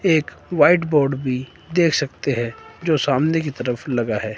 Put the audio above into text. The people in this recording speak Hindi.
एक व्हाइट बोर्ड भी दे सकते है जो सामने की तरफ लगा है।